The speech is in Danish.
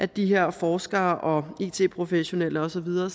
de her forskere og it professionelle og så videre